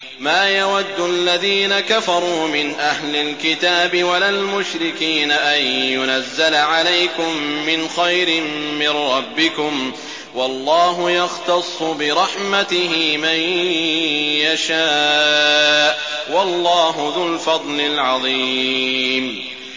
مَّا يَوَدُّ الَّذِينَ كَفَرُوا مِنْ أَهْلِ الْكِتَابِ وَلَا الْمُشْرِكِينَ أَن يُنَزَّلَ عَلَيْكُم مِّنْ خَيْرٍ مِّن رَّبِّكُمْ ۗ وَاللَّهُ يَخْتَصُّ بِرَحْمَتِهِ مَن يَشَاءُ ۚ وَاللَّهُ ذُو الْفَضْلِ الْعَظِيمِ